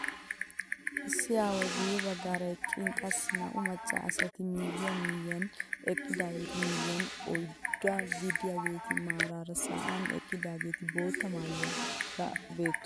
Issi aaway guye baggaara eqqin qassi naa"u macca asati miyiyaan miyiyaan eqqidaagetu miyiyaan oyddaa gidiyaageti maarara sa'an eqqidaageti bootta maayuwaara beettoosona.